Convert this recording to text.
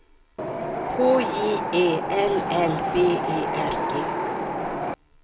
K J E L L B E R G